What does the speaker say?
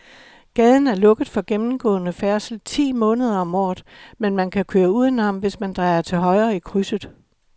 Gaden er lukket for gennemgående færdsel ti måneder om året, men man kan køre udenom, hvis man drejer til højre i krydset.